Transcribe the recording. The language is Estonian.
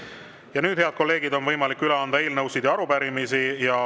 Ja nüüd, head kolleegid, on võimalik üle anda eelnõusid ja arupärimisi.